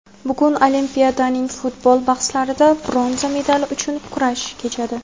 Bugun Olimpiadaning futbol bahslarida bronza medali uchun kurash kechadi!.